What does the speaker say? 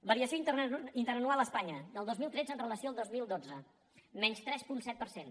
variació interanual a espanya del dos mil tretze amb relació al dos mil dotze menys tres coma set per cent